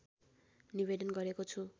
निवेदन गरेको छु